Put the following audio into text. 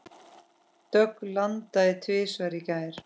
Dögg landaði tvisvar í gær.